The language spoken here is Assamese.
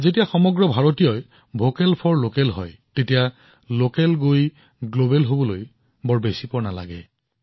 যেতিয়া প্ৰতিজন ভাৰতীয়ই স্থানীয় সামগ্ৰীসকলৰ বাবে মাত মাতিবলৈ আৰম্ভ কৰে তেতিয়া স্থানীয় সামগ্ৰীবোৰ বিশ্বব্যাপী হবলৈ অধিক সময় নালাগে